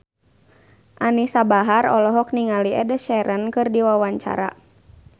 Anisa Bahar olohok ningali Ed Sheeran keur diwawancara